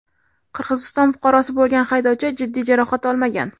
Qirg‘iziston fuqarosi bo‘lgan haydovchi jiddiy jarohat olmagan.